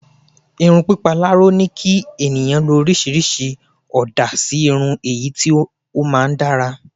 irun pipa laro ni ki eniyan lo orisirisi ooda si irun eyi ti o maa n dara